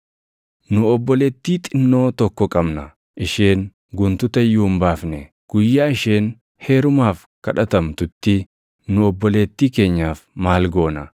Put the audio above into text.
Nu obboleettii xinnoo tokko qabna; isheen guntuta iyyuu hin baafne. Guyyaa isheen heerumaaf kadhatamtutti nu obboleettii keenyaaf maal goona?